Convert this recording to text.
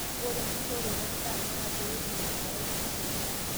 ore enkishoroto endaa naa pee etum enkerai eng'olon